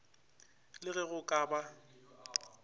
la ge go ka ba